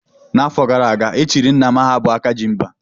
N'afọ gara aga, e chiri Nna m aha bụ "Akajimba"